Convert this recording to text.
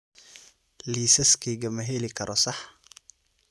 Liisaskayga ma heli karo sax?